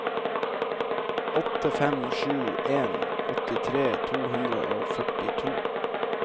åtte fem sju en åttitre to hundre og førtito